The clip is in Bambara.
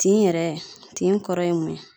Tin yɛrɛ tin kɔrɔ ye mun ye